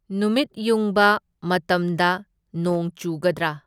ꯅꯨꯃꯤꯠ ꯌꯨꯡꯕ ꯃꯇꯝꯗ ꯅꯣꯡ ꯆꯨꯒꯗ꯭ꯔꯥ?